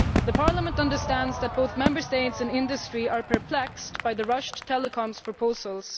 Parliament understands that both Member States and industry are perplexed by the rushed telecoms proposals.